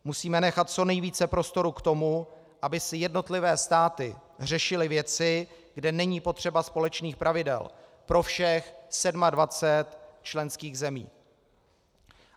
Musíme nechat co nejvíce prostoru k tomu, aby si jednotlivé státy řešily věci, kde není potřeba společných pravidel pro všech 27 členských zemí.